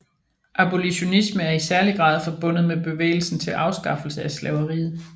Abolitionisme er i særlig grad forbundet med bevægelsen til afskaffelse af slaveriet